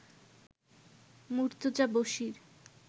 Murtaza Bashir